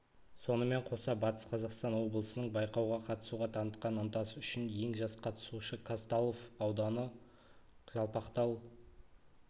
сонымен қоса батыс қазақстан облысының байқауға қатысуға танытқан ынтасы үшін ең жас қатысушы казталов ауданы жалпақтал